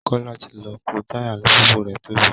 Kọ́lá ti lọ pọ́ táyà alùpùpù rẹ̀ tó bẹ́